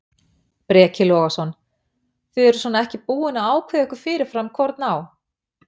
Breki Logason: Þið eruð svona ekki búin að ákveða ykkur fyrirfram hvorn á?